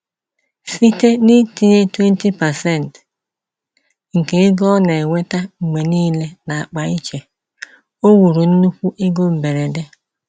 Site n’itinye 20% nke ego o na-enweta mgbe niile n’akpa iche, o wuru nnukwu ego mberede.